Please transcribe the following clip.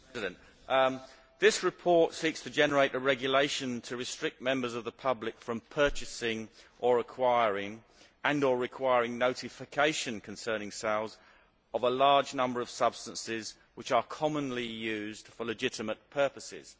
Mr President, this report seeks to generate a regulation to restrict members of the public from purchasing, and to require notification concerning sales of, a large number of substances which are commonly used for legitimate purposes.